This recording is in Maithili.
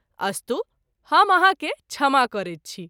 अस्तु हम आहाँ के क्षमा करैत छी।